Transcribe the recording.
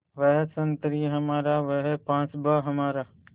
वह संतरी हमारा वह पासबाँ हमारा